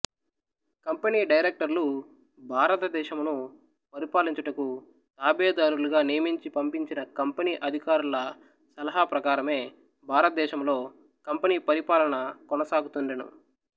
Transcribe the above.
company డైరెక్టర్లు భారతదేశమును పరిపాలించుటకు తాబేదారులుగా నియమించి పంపించిన కంపెనీ అధికారుల సలహా ప్రకారమే భారతదేశములో కంపెనీ పరిపాలన కొనసాగుతుండెను